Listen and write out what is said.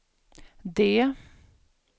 D